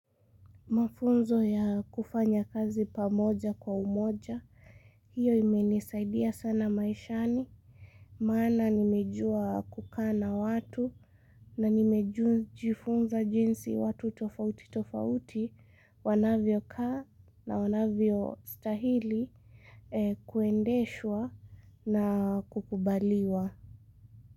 Mafunzo ya kufanya kazi pamoja kwa umoja, hiyo imenisaidia sana maishani, maana nimejua kukaa na watu na nimejifunza jinsi watu tofauti tofauti, wanavyo kaa na wanavyostahili kuendeshwa na kukubaliwa.